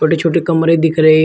पे छोटे कमरे दिख रहे--